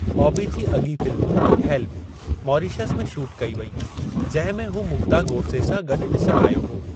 बॉबी जी अॻीं film 'Help' Mauritius में shoot कई वई, जंहिं में हू मुग्धा गोडसे सां गॾु ॾिसणु आयो हो।